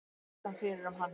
Spurðist hann fyrir um hann.